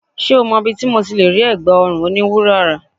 Ṣé o mọ ibi tí mo ti lè rí ẹ̀gbá ọrùn oní wúrà rà?